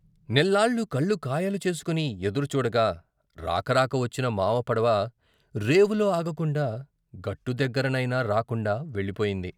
నెల్లాళ్ళు కళ్ళు కాయలు చేసుకుని ఎదురు చూడగా రాకరాక వచ్చిన మావ పడవ, రేవులో ఆగకుండా గట్టు దగ్గర నైనా రాకుండా వెళ్ళిపోయింది.